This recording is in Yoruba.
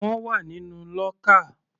Wọ́n wà nínú lọ́kà.